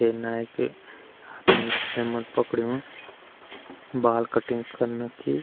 ये नाई की हाथ म ट्रीमर पकड़ियूँ बाल कटिंग कन्ना कि।